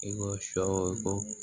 I ko sɔ ko